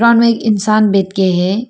दुकान में एक इंसान बैठ के है।